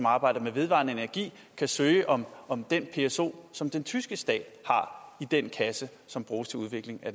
arbejder med vedvarende energi kan søge om om den pso som den tyske stat har i den kasse som bruges til udvikling af